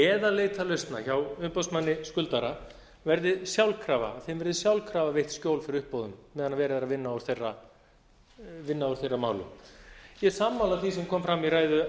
eða leita lausna hjá umboðsmanni skuldara verði sjálfkrafa veitt skjól fyrir uppboðum meðan verið er að vinna úr þeirra málum ég er sammála því sem kom fram í ræðu